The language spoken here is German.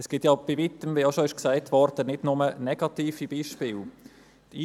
Es gibt bei Weitem nicht nur negative Beispiele, wie auch schon gesagt wurde.